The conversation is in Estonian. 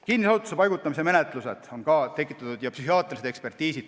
Kinnisesse asutusse paigutamise menetlused ja psühhiaatrilised ekspertiisid on ka tekitanud küsimusi.